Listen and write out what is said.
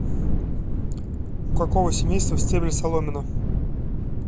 у какого семейства стебель соломина